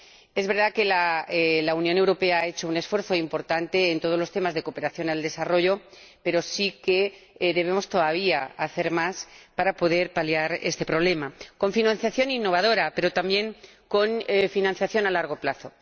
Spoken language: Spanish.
Es verdad que la Unión Europea ha hecho un esfuerzo importante en todos los temas de cooperación al desarrollo, pero aún debemos hacer más para poder paliar este problema, con financiación innovadora, pero también con financiación a largo plazo.